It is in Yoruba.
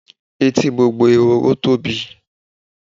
Etí gbogbo ehoro tóbi.